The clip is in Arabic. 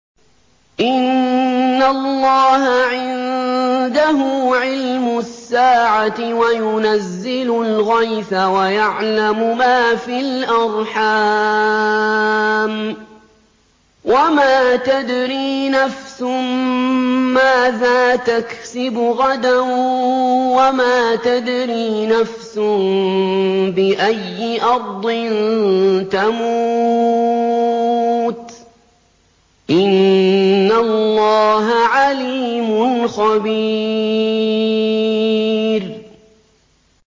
إِنَّ اللَّهَ عِندَهُ عِلْمُ السَّاعَةِ وَيُنَزِّلُ الْغَيْثَ وَيَعْلَمُ مَا فِي الْأَرْحَامِ ۖ وَمَا تَدْرِي نَفْسٌ مَّاذَا تَكْسِبُ غَدًا ۖ وَمَا تَدْرِي نَفْسٌ بِأَيِّ أَرْضٍ تَمُوتُ ۚ إِنَّ اللَّهَ عَلِيمٌ خَبِيرٌ